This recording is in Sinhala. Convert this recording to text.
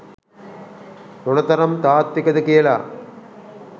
මොන තරම් තාත්විකද කියලා.